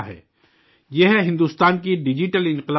یہ ہے ہندوستان کے ڈیجیٹل انقلاب کی طاقت